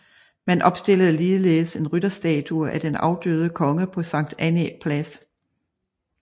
Man opstillede ligeledes en rytterstatue af den afdøde konge på Sankt Annæ Plads